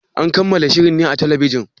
An kammala shirin ne a talbijin?